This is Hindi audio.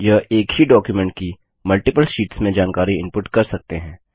ये एक ही डॉक्युमेंट की मल्टिपल शीट्स में जानकारी इनपुट कर सकते हैं